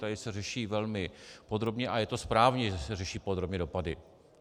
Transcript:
Tady se řeší velmi podrobně, a je to správně, že se řeší podrobně dopady.